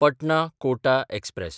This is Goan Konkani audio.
पटना–कोटा एक्सप्रॅस